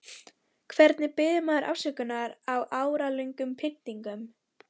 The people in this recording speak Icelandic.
Hvernig biður maður afsökunar á áralöngum pyntingum?